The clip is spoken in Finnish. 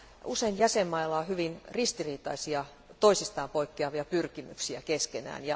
Usein jäsenmailla on hyvin ristiriitaisia, toisistaan poikkeavia pyrkimyksiä keskenään.